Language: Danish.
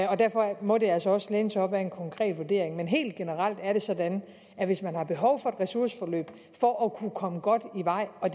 og derfor må det altså også læne sig op ad en konkret vurdering men helt generelt er det sådan at hvis man har behov for et ressourceforløb for at kunne komme godt i vej og